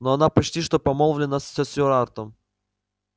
но она почти что помолвлена со стюартом